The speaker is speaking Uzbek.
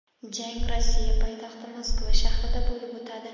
Jang Rossiya poytaxti Moskva shahrida bo‘lib o‘tadi.